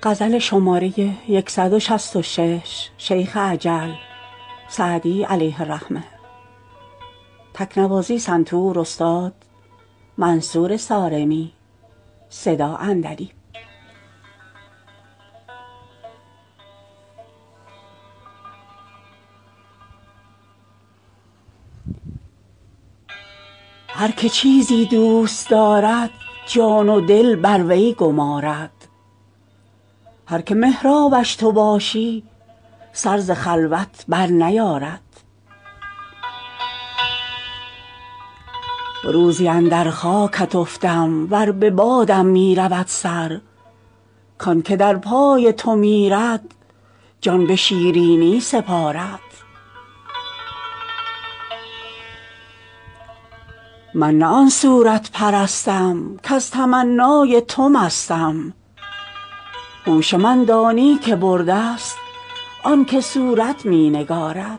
هر که چیزی دوست دارد جان و دل بر وی گمارد هر که محرابش تو باشی سر ز خلوت برنیارد روزی اندر خاکت افتم ور به بادم می رود سر کان که در پای تو میرد جان به شیرینی سپارد من نه آن صورت پرستم کز تمنای تو مستم هوش من دانی که برده ست آن که صورت می نگارد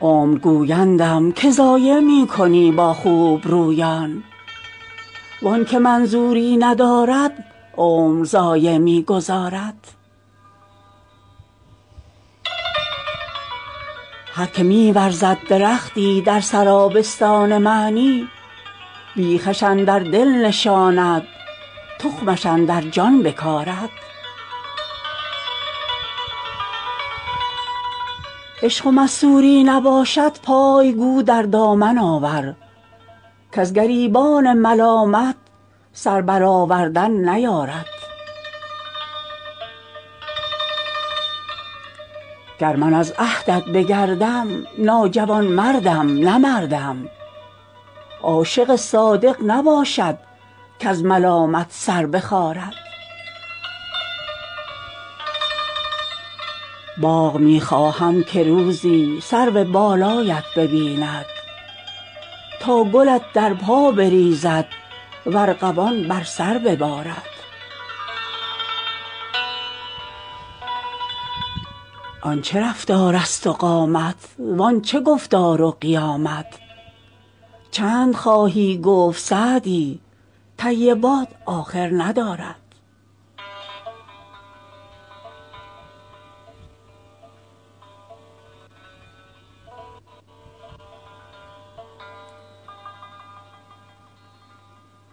عمر گویندم که ضایع می کنی با خوبرویان وان که منظوری ندارد عمر ضایع می گذارد هر که می ورزد درختی در سرابستان معنی بیخش اندر دل نشاند تخمش اندر جان بکارد عشق و مستوری نباشد پای گو در دامن آور کز گریبان ملامت سر برآوردن نیارد گر من از عهدت بگردم ناجوانمردم نه مردم عاشق صادق نباشد کز ملامت سر بخارد باغ می خواهم که روزی سرو بالایت ببیند تا گلت در پا بریزد و ارغوان بر سر ببارد آن چه رفتارست و قامت وان چه گفتار و قیامت چند خواهی گفت سعدی طیبات آخر ندارد